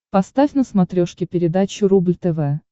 поставь на смотрешке передачу рубль тв